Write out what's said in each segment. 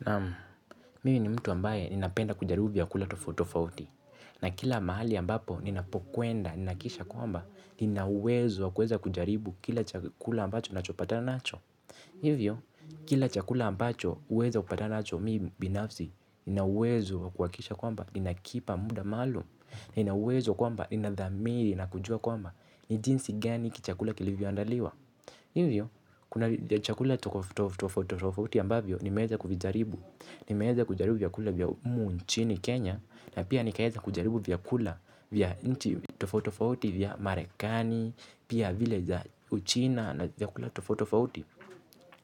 Naam mimi ni mtu ambaye ninapenda kujaribu vyakula tofauti tofauti. Na kila mahali ambapo ninapokwenda, ninahakikisha kwamba, nina uwezo wa kuweza kujaribu kila chakula ambacho nachopatana nacho. Hivyo, kila chakula ambacho uweza kupatana nacho mimi binafsi, nina uwezo wa kuhakikisha kwamba, ninakipa muda maalumu, nina uwezo kwamba, ina dhamiri, nakujua kwamba, ni jinsi gani chakula kilivyo andaliwa. Hivyo, kuna chakula tofauti tofauti ambavyo nimeeza kuvijaribu. Nimeeza kujaribu vyakula vya humu nchini Kenya. Na pia nikaeza kujaribu vyakula vya nchi tofotofauti vya Marekani. Pia vile za uchina na vyakula tofauti tofauti.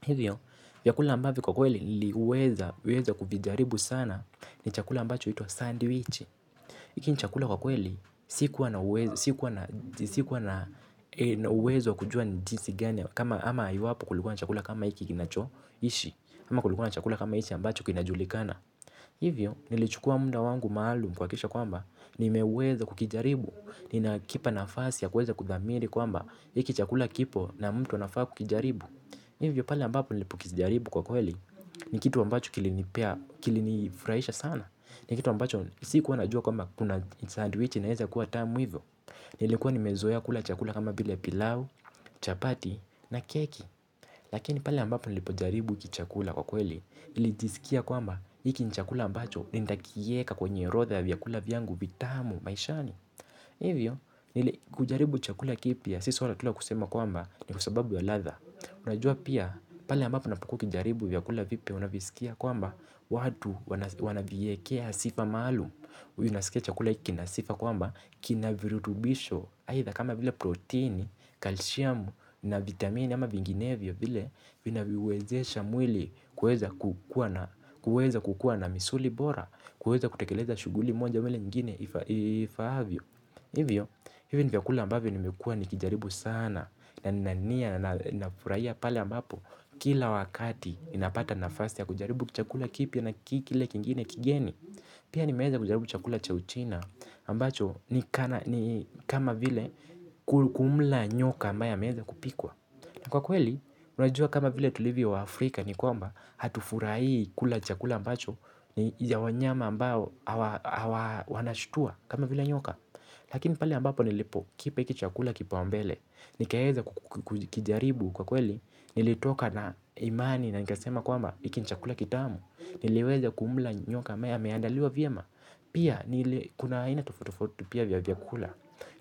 Hivyo, vyakula ambavyo kwa kweli niliweza kuvijaribu sana ni chakula ambacho huitwa Sandwich hiki ni chakula kwa kweli, sikuwa na uwezo wa kujua ni jinsi gani. Ama iwapo kulikua na chakula kama hiki kinacho ishi ama kulikua na chakula kama hichi ambacho kinajulikana. Hivyo, nilichukua muda wangu maalum kuhakikisha kwamba nimeweza kukijaribu, ninakipa nafasi ya kuweza kudhamiri kwamba hiki chakula kipo na mtu anafaa kukijaribu. Hivyo, pale ambapo nilipokijaribu kwa kweli ni kitu ambacho kilinipea, kilinifurahisha sana. Ni kitu ambacho, sikuwa najua kwamba kuna sandwichi inaeza kuwa tamu hivyo. Nilikuwa nimezoea kula chakula kama vile pilau, chapati na keki. Lakini pale ambapo nilipojaribu hiki chakula kwa kweli nilijisikia kwamba hiki ni chakula ambacho nitakieka kwenye orodha ya vyakula vyangu vitamu maishani. Hivyo, nili kujaribu chakula kipya, si swala tu la kusema kwamba ni kwasababu ya ladha. Unajua pia pale ambapo unapukuwa ukijaribu vyakula vipya unavisikia kwamba watu wanaviekea sifa maalum. Unasikia chakula hiki kina sifa kwamba kina virutubisho aidha kama vile protini, calcium na vitamini ama vinginevyo vile vinaviwezesha mwili kuweza kukua na misuli bora. Kuweza kutekeleza shughuli moja ama ile nyingine ifaavyo. Hivyo, hivyo ni vyakula ambavyo nimekuwa nikijaribu sana na nina nia nafurahia pale ambapo kila wakati ninapata nafasi ya kujaribu chakula kipya na kile kingine kigeni. Pia ni meeza kujaribu chakula cha uchina ambacho ni kama vile kumla nyoka ambaya ameeza kupikwa. Na kwa kweli, unajua kama vile tulivyo wa Afrika ni kwamba hatufurahii kula chakula ambacho ni ya wanyama ambao wanashutua kama vile nyoka. Lakini pale ambapo nilipo kipa hiki chakula kipaumbele. Nikaeza kukijaribu kwa kweli nilitoka na imani na nikasema kwamba hiki ni chakula kitamu. Niliweza kumla nyoka ambaye ameandaliwa vyema. Pia kuna aina tofauti tofauti pia vya vyakula.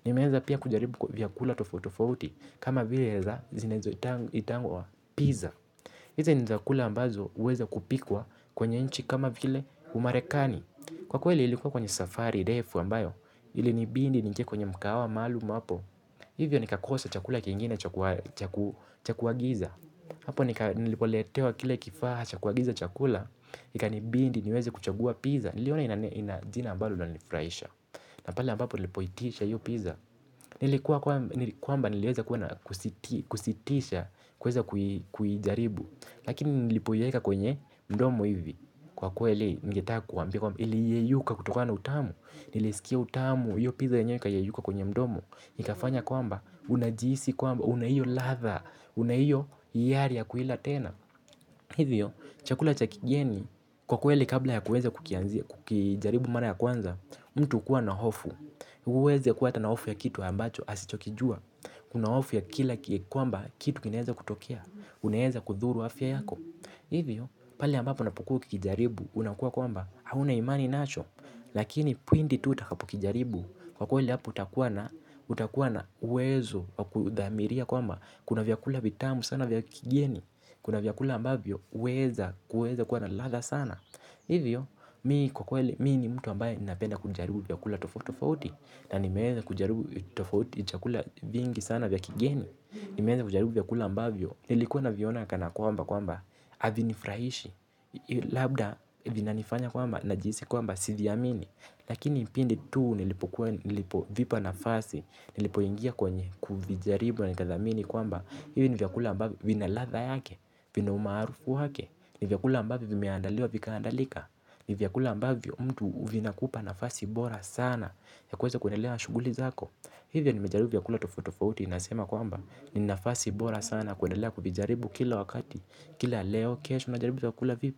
Nimeeza pia kujaribu vyakula tofauti tofauti kama vile zinazoitangwa pizza hizo ni chakula ambazo huweza kupikwa kwenye nchi kama vile umarekani. Kwa kweli ilikuwa kwenye safari ndefu ambayo ilinibidi niingie kwenye mkahawa maalumu hapo. Hivyo nikakosa chakula kingine cha kuagiza. Hapo nilipoletewa kile kifaa cha kuagiza chakula. Ikanibidi niweze kuchagua pizza. Niliona ina jina ambalo linanifraisha. Na pale ambapo nilipoitisha hiyo pizza. Nilikuwa kwamba nilieza kuwa na kusitisha kuweza kuijaribu. Lakini nilipoieka kwenye mdomo hivi. Kwa kweli, ningetaka kuwaambia kwamba, iliyeyuka kutokana utamu. Nilisikia utamu, hiyo pizza yenyewe ikayeyuka kwenye mdomo. Nikafanya kwamba, unajihisi kwamba, una hiyo ladha, una hiyo hiari ya kuila tena. Hivyo, chakula cha kigieni, kwa kweli kabla ya kuweza kukijaribu mara ya kwanza. Mtu hukua na hofu, uweze kuwa hata na hofu ya kitu ambacho, asichokijua. Kuna hofu ya kila kwamba, kitu kinaeza kutokea, unaeza kudhuru afya yako. Hivyo pale ambapo unapokuwa ukikijaribu unakuwa kwamba hauna imani nacho. Lakini pindi tu utakapokijaribu kwa kweli hapo utakuwa na uwezo wa kudhamiria kwamba kuna vyakula vitamu sana vya kigieni. Kuna vyakula ambavyo uweza kuweza kuwa na ladha sana. Hivyo mi kwa kweli mi ni mtu ambaye napenda kujaribu vyakula tofauti tofauti. Na nimeeza kujaribu vyakula vingi sana vya kigieni. Nimeeza kujaribu vyakula ambavyo nilikuwa naviona kana kwamba kwamba havinifurahishi. Labda vina nifanya kwamba najihisi kwamba si vyamini. Lakini pindi tu nilipo vipa nafasi nilipo ingia kwenye kuvijaribu na nikathamini kwamba hivyo ni vyakula ambavyo vina ladha yake vina umaarufu wake. Ni vyakula ambavyo vimeandaliwa vikaandalika. Ni vyakula ambavyo mtu vinakupa nafasi bora sana ya kuweza kuendelea na shughuli zako. Hivyo nimejaribu vyakula tofauti tofauti nasema kwamba ni nafasi bora sana kuendelea kuvijaribu kila wakati. Kila leo kesho najaribu tutakula vipi.